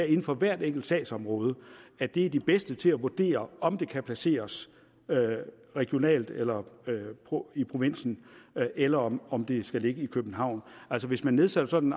inden for hver enkelt sagsområde er de de bedste til at vurdere om det kan placeres regionalt eller i provinsen eller om om det skal ligge i københavn altså hvis man nedsætter sådan